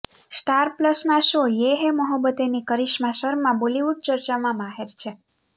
star પ્લસના show યે હૈ મોહબ્બતેંની કરિશ્મા શર્મા બોલીવુડ ચર્ચામાં માહેર છે